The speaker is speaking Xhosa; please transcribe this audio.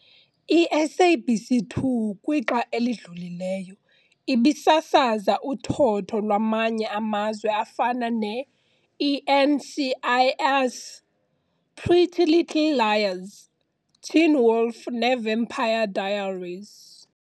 I-SABC 2 kwixa elidlulileyo, ibisasaza uthotho lwamanye amazwe afana ne- i-NCIS, Pretty Little Liars, Teen Wolf ne Vampire Diaries.